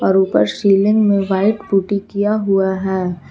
और ऊपर सीलिंग में व्हाइट पुटी किया हुआ है।